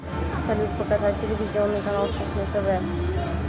салют показать телевизионный канал кухня тв